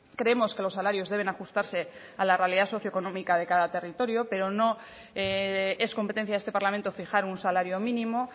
creemos que los salarios deben ajustarse a la realidad socioeconómica de cada territorio pero no es competencia de este parlamento fijar un salario mínimo